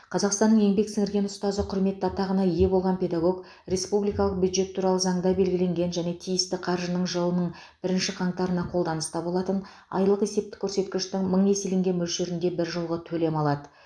қазақстанның еңбек сіңірген ұстазы құрметті атағына ие болған педагог республикалық бюджет туралы заңда белгіленген және тиісті қаржы жылының бірінші қаңтарына қолданыста болатын айлық есептік көрсеткіштің мың еселенген мөлшерінде біржолғы төлем алады